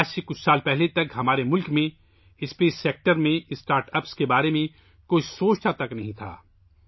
چند سال پہلے تک، ہمارے ملک میں، خلائی شعبے میں، کسی نے اسٹارٹ اپس کے بارے میں سوچا تک نہیں تھا